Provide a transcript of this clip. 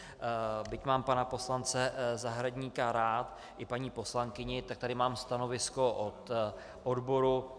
Byť mám pana poslance Zahradníka rád, i paní poslankyni, tak tady mám stanovisko od odboru.